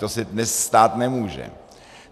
To se dnes stát nemůže.